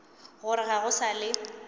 gore ga go sa le